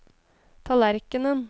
tallerkenen